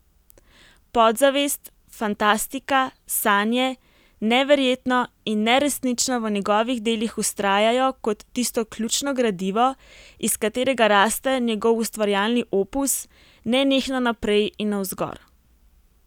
Podzavest, fantastika, sanje, neverjetno in neresnično v njegovih delih vztrajajo kot tisto ključno gradivo, iz katerega raste njegov ustvarjalni opus nenehno naprej in navzgor.